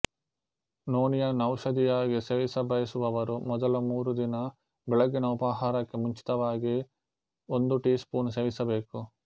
ನೋಣಿಯನ್ನು ಔಷಧಿಯಾಗಿ ಸೇವಿಸಬಯಸುವವರು ಮೊದಲ ಮೂರು ದಿನ ಬೆಳಗಿನ ಉಪಹಾರಕ್ಕೆ ಮುಂಚಿತವಾಗಿ ಒಂದು ಟೀ ಸ್ಪೂನ್ ಸೇವಿಸಬೇಕು